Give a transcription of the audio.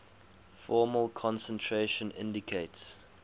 formal concentration indicates